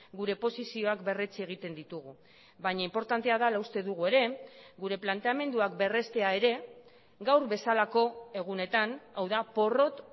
gure posizioak berretsi egiten ditugu baina inportantea dela uste dugu ere gure planteamenduak berreztea ere gaur bezalako egunetan hau da porrot